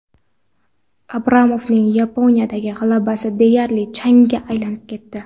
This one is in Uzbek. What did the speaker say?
Abramovning Yaponiyadagi g‘alabasi deyarli changga aylanib ketdi.